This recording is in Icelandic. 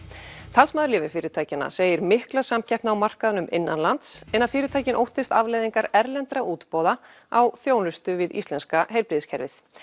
talsmaður lyfjafyrirtækjanna segir mikla samkeppni á markaðnum innanlands en að fyrirtækin óttist afleiðingar erlendra útboða á þjónustu við íslenska heilbrigðiskerfið